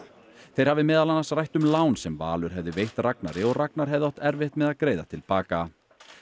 þeir hafi meðal annars rætt um lán sem Valur hafði veitt Ragnari og Ragnar hefði átt erfitt með að greiða til baka